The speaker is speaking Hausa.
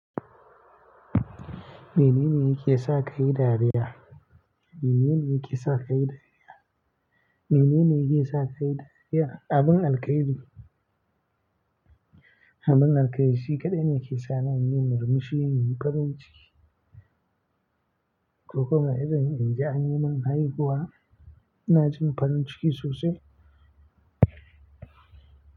Menene yake sa kayi dariya? Menene yake sa kai dariya? Menene yake sa kai dariya? Abin alkhairi. Abin alkhairi shi kaɗai ne ke sa ni in yi murmushi, in yi farin ciki. Ko kuma idan in ji an yi min haihuwa, na jin farin ciki sosai.